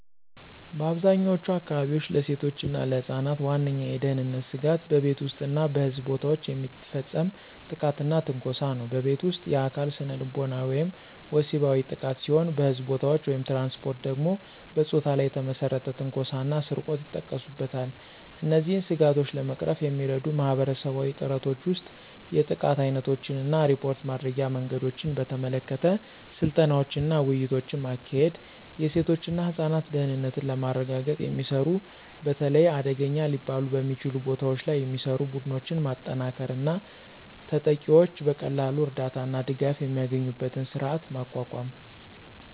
በአብዛኛዎቹ አካባቢዎች፣ ለሴቶች እና ለህፃናት ዋነኛው የደህንነት ስጋት በቤት ውስጥ እና በሕዝብ ቦታዎች የሚፈጸም ጥቃትና ትንኮሳ ነው። በቤት ውስጥ: የአካል፣ ስነልቦናዊ ወይም ወሲባዊ ጥቃት ሲሆን በሕዝብ ቦታዎች/ትራንስፖርት ደግሞ በፆታ ላይ የተመሰረተ ትንኮሳ እና ስርቆት ይጠቀሱበታል። እነዚህን ስጋቶች ለመቅረፍ የሚረዱ ማህበረሰባዊ ጥረቶች ውስጥ የጥቃት ዓይነቶችን እና ሪፖርት ማድረጊያ መንገዶችን በተመለከተ ስልጠናዎችንና ውይይቶችን ማካሄድ፤ የሴቶች እና ህፃናት ደህንነትን ለማረጋገጥ የሚሰሩ፣ በተለይ አደገኛ ሊባሉ በሚችሉ ቦታዎች ላይ የሚሰሩ፣ ቡድኖችን ማጠናከር እና ተጠቂዎች በቀላሉ እርዳታ እና ድጋፍ የሚያገኙበትን ስርዓት ማቋቋም።